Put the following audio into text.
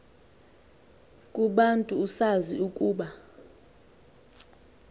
kubantu usazi ukuba